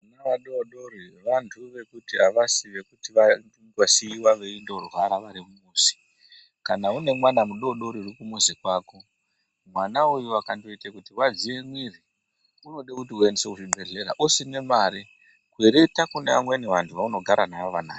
Vana vadodori vanthu vekuti avasi vekuti kwai vosiiiwa veindorwara vari kumuzi kana une mwana mudodori uri kumuzi kwako mwana uyu akondoita kunge wadziwe mwiri unode kuti aendeswe kuchibhedhlera usina mare kwereta kune vamweni vanthu vaunogara navo vanayo.